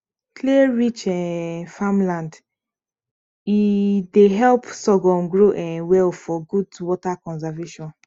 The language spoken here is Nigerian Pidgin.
clayrich um farmland e dey help sorghum grow um well for good water conservation